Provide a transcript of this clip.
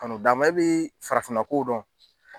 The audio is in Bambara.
Ka n'o dama, e b'i farafinna kow dɔn.